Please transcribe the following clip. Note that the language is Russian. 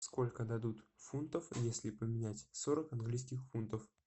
сколько дадут фунтов если поменять сорок английских фунтов